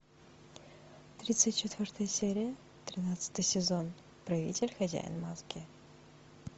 тридцать четвертая серия тринадцатый сезон правитель хозяин маски